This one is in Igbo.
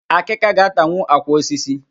Akika ga-atanwu àkwà osisi